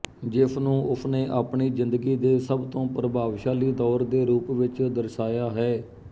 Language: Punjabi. ਜਿਸ ਨੂੰ ਉਸਨੇ ਆਪਣੀ ਜ਼ਿੰਦਗੀ ਦੇ ਸਭ ਤੋਂ ਪ੍ਰਭਾਵਸ਼ਾਲੀ ਦੌਰ ਦੇ ਰੂਪ ਵਿੱਚ ਦਰਸਾਇਆ ਹੈ